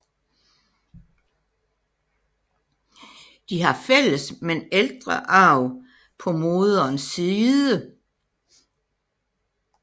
De har fælles men ældre arv på moderens side